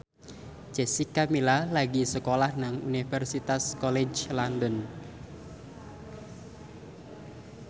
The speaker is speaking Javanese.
Jessica Milla lagi sekolah nang Universitas College London